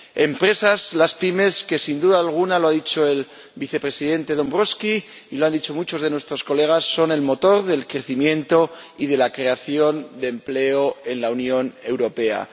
Empresas, las pymes, que, sin duda alguna —lo ha dicho el Vicepresidente Dombrovskis y lo han dicho muchos de nuestros colegas— son el motor del crecimiento y de la creación de empleo en la Unión Europea.